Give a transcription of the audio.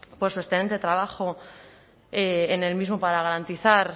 por su excelente trabajo en el mismo para garantizar